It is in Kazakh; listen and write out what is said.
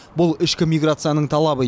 бұл ішкі миграцияның талабы